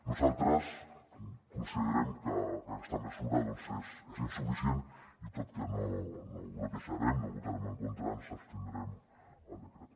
nosaltres considerem que aquesta mesura és insuficient i tot i que no la bloquejarem no hi votarem en contra ens abstindrem en el decret